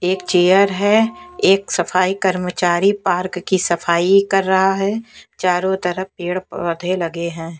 एक चेयर है एक सफाई कर्मचारी पार्क की सफाई कर रहा है चारों तरफ पेड़ पौधे लगे हैं।